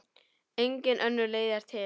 Engin önnur leið er til.